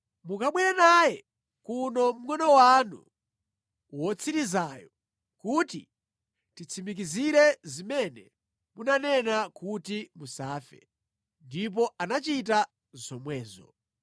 Mukabwere naye kuno mngʼono wanu wotsirizayo kuti titsimikizire zimene munanena kuti musafe.” Ndipo anachita zomwezo.